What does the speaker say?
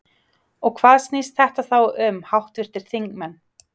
Og hvað snýst þetta þá um háttvirtir þingmenn?